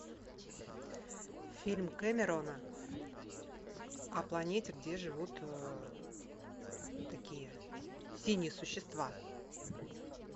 фильм кэмерона о планете где живут такие синие существа